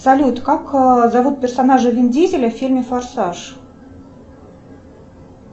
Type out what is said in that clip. салют как зовут персонажа вин дизеля в фильме форсаж